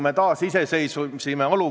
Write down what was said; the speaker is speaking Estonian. Ma näen, et Viktori juures on juba väike säde õhus.